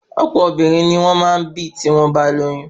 Ọ̀pọ obìnrin ni o maá ǹ bì tí wọ́n bá lóyún